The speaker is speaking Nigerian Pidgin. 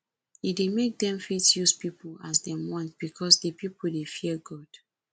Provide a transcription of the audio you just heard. e de make dem fit use pipo as dem want because di pipo de fear god